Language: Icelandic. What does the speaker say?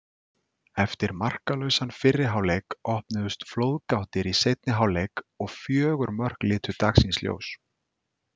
Eftir markalausan fyrri hálfleik opnuðust flóðgáttir í seinni hálfleik og fjögur mörk litu dagsins ljós.